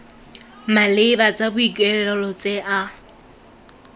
maleba tsa boikuelo tse a